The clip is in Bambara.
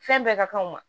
Fɛn bɛɛ ka kan ma